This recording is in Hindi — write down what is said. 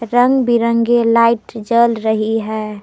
रंग बिरंगे लाइट जल रही है।